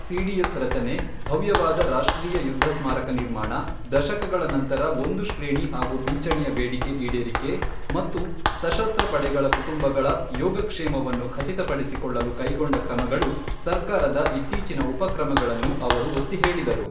CDS ರಚನೆ, ಭವ್ಯವಾದ ರಾಷ್ಟ್ರೀಯ ಯುದ್ಧ ಸ್ಮಾರಕ ನಿರ್ಮಾಣ, ದಶಕಗಳ ನಂತರ ಒಂದು ಶ್ರೇಣಿ ಒಂದು ಪಿಂಚಣಿಯ ಬೇಡಿಕೆ ಈಡೇರಿಕೆ ಮತ್ತು ಸಶಸ್ತ್ರ ಪಡೆಗಳ ಕುಟುಂಬಗಳ ಯೋಗಕ್ಷೇಮವನ್ನು ಖಚಿತಪಡಿಸಿಕೊಳ್ಳಲು ಕೈಗೊಂಡ ಕ್ರಮಗಳು ಸರ್ಕಾರದ ಇತ್ತೀಚಿನ ಉಪಕ್ರಮಗಳನ್ನು ಅವರು ಒತ್ತಿ ಹೇಳಿದರು.